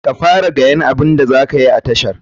Ka fara gayan abun da zakayi a tashar.